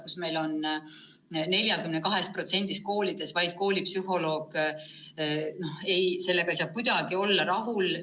Meil on vaid 42% koolides psühholoog olemas ja sellega ei saa kuidagi rahul olla.